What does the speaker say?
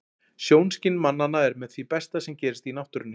Sjónskyn mannanna er með því besta sem gerist í náttúrunni.